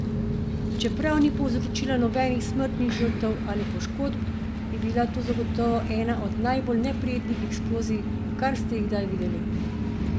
Čeprav ni povzročila nobenih smrtnih žrtev ali poškob, je bila to zagotovo ena od najbolj neprijetnih eksplozij, kar ste jih kdaj videli!